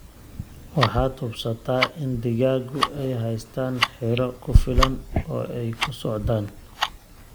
Waxaad hubsata in digaagu ay haystaan ?xiroo ku filan oo ay ku socdaan.